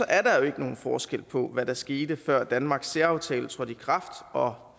er der jo ikke nogen forskel på hvad der skete før danmarks særaftale trådte i kraft og